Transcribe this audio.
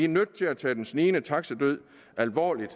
nødt til at tage den snigende taxidød alvorligt